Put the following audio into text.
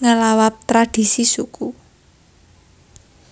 ngelawabTradisi suku